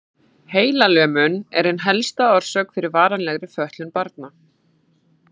Heilalömun er ein helsta orsökin fyrir varanlegri fötlun barna.